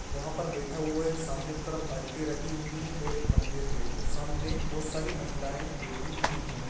वह पर बैठा हुआ है सामने की तरफ बालटी रखी हुई है और एक मंदिर है वो सामने वो सारी महिलाएं बैठी हुई है।